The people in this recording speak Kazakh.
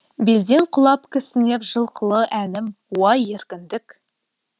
белден құлап кісінеп жылқылы әнім уа еркіндік